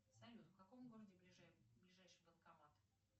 салют в каком городе ближайший банкомат